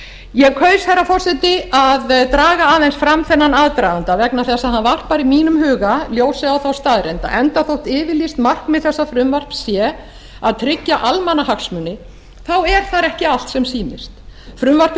ég kaus herra forseti að draga aðeins fram þennan aðdraganda vegna þess að hann varpar í mínum huga ljósi á þá staðreynd að enda þótt yfirlýst markmið þessa frumvarps sé að tryggja almannahagsmuni er þar ekki allt sem sýnist frumvarpið